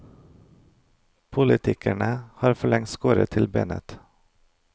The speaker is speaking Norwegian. Politikerne har forlengst skåret til benet.